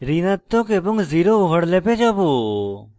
ঋণাত্মক এবং zero ওভারল্যাপে যাবো